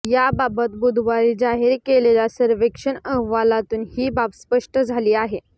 याबाबत बुधवारी जाहीर केलेल्या सर्वेक्षण अहवालातून ही बाब स्पष्ट झाली आहे